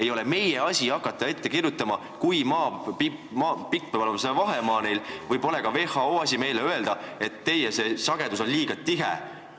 Ei ole meie asi hakata ette kirjutama, kui pikk peab see vahemaa olema, ega ole ka WHO asi meile öelda, kas see sagedus on liiga tihe või mitte.